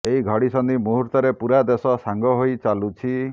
ଏହି ଘଡ଼ିସନ୍ଧି ମୁହୂର୍ତ୍ତରେ ପୂରା ଦେଶ ସାଙ୍ଗ ହୋଇ ଚାଲୁଛି